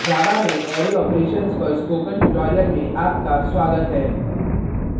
java में array operations पर spoken tutorial में आपका स्वागत है